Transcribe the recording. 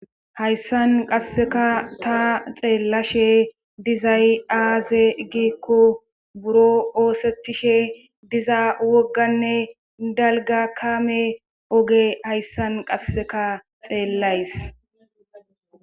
Hayssan qasseka ta xeellashe dizay aaze giikko buro oosettishe diza wogganne dalga kaame oge hayssan qasseka xeellays.